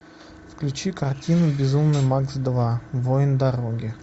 включи картину безумный макс два воин дороги